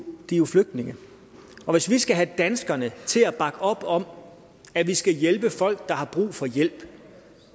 er jo flygtninge og hvis vi skal have danskerne til at bakke op om at vi skal hjælpe folk der har brug for hjælp